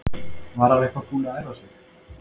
En var hann eitthvað búinn að æfa sig?